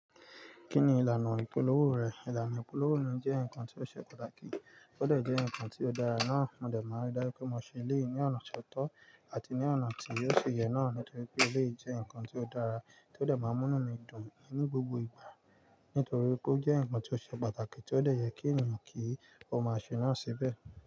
Kí ni ìlànà ìpolówó rẹ̀? Ìlànà ìpolówó mi jẹ́ nǹkan tó ṣe pàtàkì, ó dẹ̀ jẹ́ nǹkan tó dára náà. Mo dẹ̀ máa ń dá ju pé mo ṣe eléyi ní ọ̀nà ti ọ́tọ̀ àti ní ọ̀nà tí ò ṣi ye náà nítorí pé elé jẹ́ nǹkan tó dára tí ó dẹ̀ máa ń múnú mi dùn ní gbogbo ìgbà. Nítorí pé ó jẹ́ nǹkan tó ṣe pàtàkì tí ó dẹ̀ yẹ kí ènìyàn kí ó máa ṣe náà síbẹ̀.